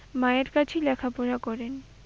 মায়ের কাছেই লেখাপড়া করেন।